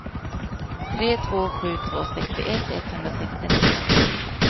tre två sju två sextioett etthundrasextionio